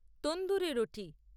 tandoori রোটি